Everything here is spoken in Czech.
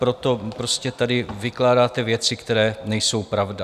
Proto prostě tady vykládáte věci, které nejsou pravda.